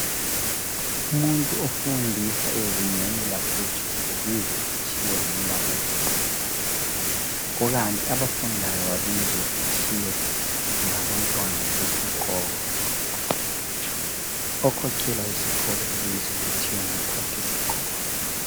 Umuntu ofundisa ezingeni laphezulu ubizwa kuthiwa ngumbalisi kukanti abafundayo babizwa kuthiwa ngabantwana besikolo. Okhokhela izikolo ubizwa kuthiwa ngu mphathisikolo.